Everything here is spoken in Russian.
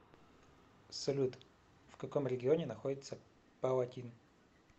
салют в каком регионе находится палатин